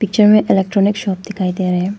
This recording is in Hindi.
पिक्चर में इलेक्ट्रॉनिक शॉप दिखाई दे रहें--